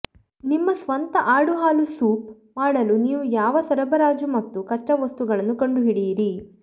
ನಿಮ್ಮ ಸ್ವಂತ ಆಡು ಹಾಲು ಸೋಪ್ ಮಾಡಲು ನೀವು ಯಾವ ಸರಬರಾಜು ಮತ್ತು ಕಚ್ಚಾವಸ್ತುಗಳನ್ನು ಕಂಡುಹಿಡಿಯಿರಿ